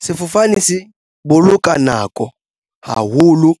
Sefofane se boloka nako haholo